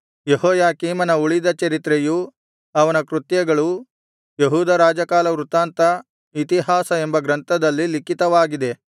ಯೆಹೋಯಾಕೀಮನ ಉಳಿದ ಚರಿತ್ರೆಯೂ ಅವನ ಕೃತ್ಯಗಳೂ ಯೆಹೂದ ರಾಜಕಾಲವೃತ್ತಾಂತ ಇತಿಹಾಸ ಎಂಬ ಗ್ರಂಥದಲ್ಲಿ ಲಿಖಿತವಾಗಿದೆ